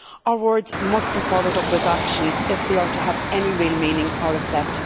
Our words must be followed up with actions if they are to have any real meaning or effect.